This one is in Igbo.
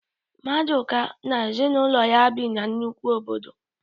Maduka na ezinụlọ ya bi na nnukwu obodo